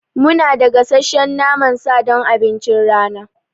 Munada gasasshen naman sa don abincin rana.